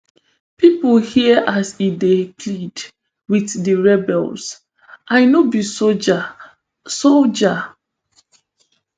pipo hear as e dey plead wit di rebels i no be soldier soldier